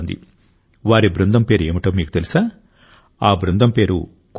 వారి బృందం పేరు ఏమిటో మీకు తెలుసా ఆఅ బృందం పేరు కోబ్రా